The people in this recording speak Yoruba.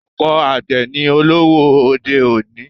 Ọ̀pọ̀ àgbè ni olówó òde-òní.